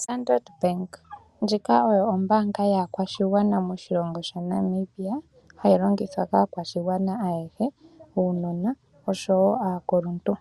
Standard Bank, ndjika oyo ombaanga yaakwashigwana moshilongo shaNamibia, hayi longithwa kaakashigwana ayehe, uunona osho wo aakuluntu.